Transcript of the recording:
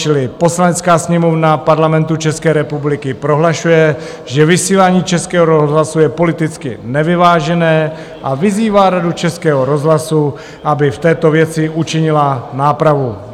Čili: "Poslanecká sněmovna Parlamentu České republiky prohlašuje, že vysílání Českého rozhlasu je politicky nevyvážené, a vyzývá Radu Českého rozhlasu, aby v této věci učinila nápravu."